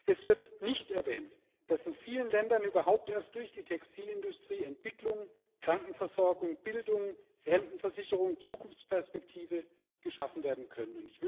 Es wird nicht erwähnt, dass in vielen Ländern überhaupt erst durch die Textilindustrie Entwicklung, Krankenversorgung, Bildung, Rentenversicherung und Zukunftsperspektive geschaffen werden können.